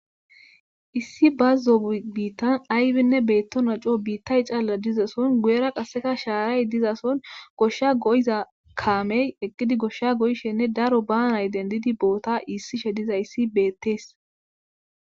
Issi bazon tas ayibika betonason guyera shara dizason gosha kamey eqidi gosha goyishene daro banayi denidedi bota isishe de'eyis betes